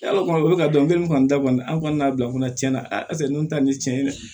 Yala kuma o bɛ ka dɔn kelen kɔni ta kɔni an kɔni n'a bila kɔnɔ tiɲɛ na a sen ninnu ta nin cɛn ye dɛ